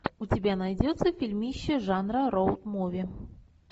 у тебя найдется фильмище жанра роуд муви